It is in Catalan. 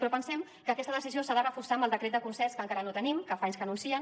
però pensem que aquesta decisió s’ha de reforçar amb el decret de concerts que encara no tenim que fa anys que anuncien